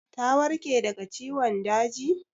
Ta warke daga ciwon daji?